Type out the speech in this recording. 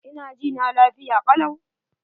Ina jina lafiya kalau.